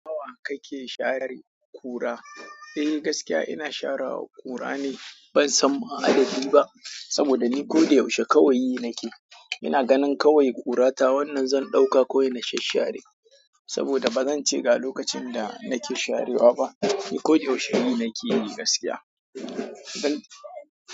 Nawa kike share ƙura? Eh gaskiya ina sharewa ƙura ne ban san ma'adadi ba saboda ni ko da yaushe kawai nake. Ina ganin kawai ƙurata wannan zan ɗauka kawai na shasshare saboda ba zance ga lokacin da nake sharewa ba. Ni ko da yaushe yi nake yi gaskiya.